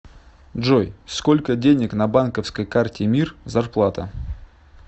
джой сколько денег на банковской карте мир зарплата